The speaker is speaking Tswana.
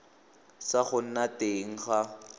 sa go nna teng ga